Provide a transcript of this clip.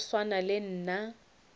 wa go swana le nna